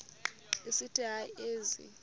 esithi hayi ezi